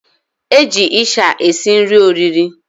Eji isha esi nri oriri.